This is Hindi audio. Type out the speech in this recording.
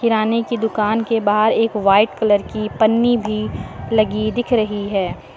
किराने की दुकान के बाहर एक वाइट कलर की पन्नी भी लगी दिख रही है।